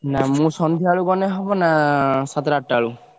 ନା ମୁଁ ସନ୍ଧ୍ୟାବେଳୁ ଗଲେ ହବ ନା ସାତଟା ଆଠଟାବେଳକୁ?